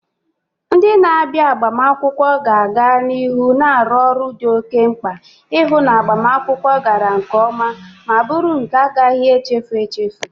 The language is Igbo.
Ndị na-abịa agbamakwụkwọ ga-aga n'ihu na-arụ ọrụ dị oke mkpa, ihu na agbamakwụkwọ gara nke oma ma buru nke na-agaghi echefu echefu.